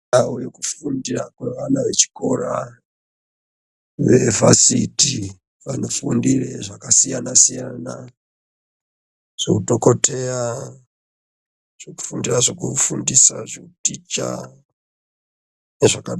Anhu kufunda kwevana vechikora vevhasiti vanofundire zvakasiyana siyana zveudhokodheya zvekufundira zvekufundisa zveuticha zvaka.